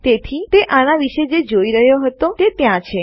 તેથી તે આના વીશે જે જોઈ રહયો હતો તે ત્યાં છે